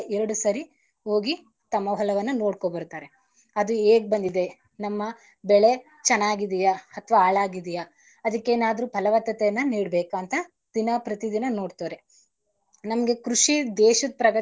ಒಂದಲ್ಲ ಎರಡು ಸಾರಿ ಹೋಗಿ ತಮ್ಮ ಹೊಲವನ್ನ ನೋಡ್ಕೋಬರ್ತಾರೆ ಅದು ಹೇಗ್ ಬಂದಿದೆ ನಮ್ಮ ಬೆಳೆ ಚೆನ್ನಾಗಿದೀಯ ಅಥವಾ ಆಳಾಗಿದೀಯಾ ಅದಿಕ್ಕೆನಾದ್ರೂ ಫಲವತ್ತತೆಯನ್ನ ನೀಡಬೇಕಾ ಅಂತ ದಿನ ಪ್ರತಿದಿನ ನೋಡ್ತಾರೆ. ನಮ್ಗೆ ಕೃಷಿ ದೇಶದ್ ಪ್ರಗತಿಗೆ.